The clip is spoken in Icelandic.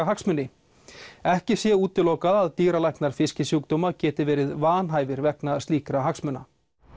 hagsmuni ekki sé útilokað að dýralæknar fiskisjúkdóma geti verið vanhæfir vegna slíkra hagsmuna